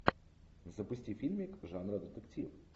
запусти фильмик жанра детектив